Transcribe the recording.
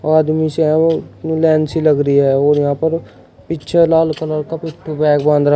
आदमी से लाइन सी लगी है और यहां पर पीछे लाल कलर का पिट्ठु बैग बांध रहा--